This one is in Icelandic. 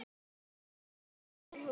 Og gefa þeim hús.